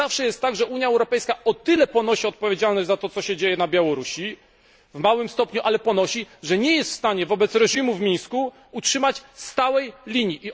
Zawsze jest tak, że Unia Europejska o tyle ponosi odpowiedzialność za to, co się dzieje na Białorusi w małym stopniu, ale ponosi że nie jest w stanie wobec reżimu w Mińsku utrzymać stałej linii.